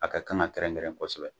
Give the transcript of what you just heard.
A ka kan ka kɛrɛn kɛrɛn kosɛbɛ